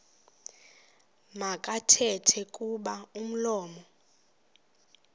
makathethe kuba umlomo